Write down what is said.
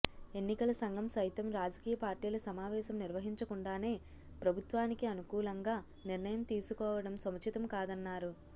ఎన్నికల సంఘం సైతం రాజకీయ పార్టీల సమావేశం నిర్వహించకుండానే ప్రభుత్వానికి అను కూలంగా నిర్ణయం తీసుకోవడం సముచితం కాదన్నారు